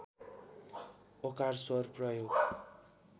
ओकार स्वर प्रयोग